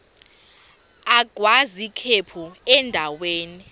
agwaz ikhephu endaweni